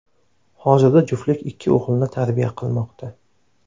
Hozirda juftlik ikki o‘g‘ilni tarbiya qilmoqda.